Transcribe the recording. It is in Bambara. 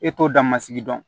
E t'o dan masigi dɔn